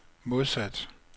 modsat